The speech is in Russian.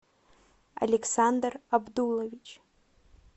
александр абдулович